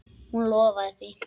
Hún lofaði því.